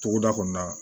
Togoda kɔnɔna na